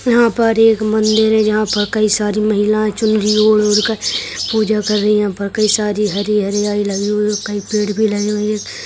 यहाँ पर एक मंदिर है जहाँ पर कई सारी महिला चुनरी ओढ़-ओढ़ कर पूजा कर रही हैं यहाँ पर कई सारी हरी हरियाली लगी हुई है कई पेड़ भी लगे हुए हैं।